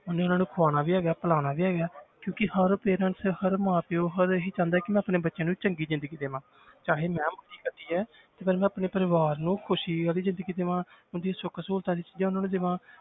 ਉਹਨੇ ਉਹਨਾਂ ਨੂੰ ਖਵਾਉਣਾ ਵੀ ਹੈਗਾ ਹੈ ਪਿਲਾਉਣਾ ਵੀ ਹੈਗਾ ਹੈ ਹਰ parents ਹਰ ਮਾਂ ਪਿਓ ਹਰ ਇਹੀ ਚਾਹੁੰਦਾ ਕਿ ਮੈਂ ਆਪਣੇ ਬੱਚਿਆਂ ਨੂੰ ਚੰਗੀ ਜ਼ਿੰਦਗੀ ਦੇਵਾਂ ਚਾਹੇ ਮੈਂ ਕੱਟੀ ਹੈ ਪਰ ਮੈਂ ਆਪਣੇ ਪਰਿਵਾਰ ਨੂੰ ਖ਼ੁਸ਼ੀ ਵਾਲੀ ਜ਼ਿੰਦਗੀ ਦੇਵਾਂ ਉਹਨਾਂ ਦੀ ਸੁੱਖ ਸਹੂਲਤਾਂ ਦੀਆਂ ਚੀਜ਼ਾਂ ਉਹਨਾਂ ਨੂੰ ਦੇਵਾਂ